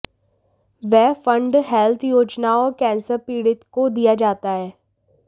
वह fund health योजनाओं और कैंसर पीडित को दिया जाता है